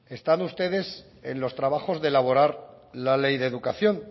están ustedes en los trabajos de elaborar la ley de educación